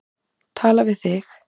Tala við þig.